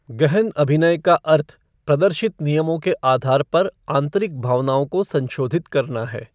गहन अभिनय का अर्थ प्रदर्शित नियमों के आधार पर आंतरिक भावनाओं को संशोधित करना है।